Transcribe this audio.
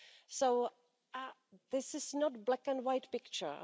So this is not a black and white picture.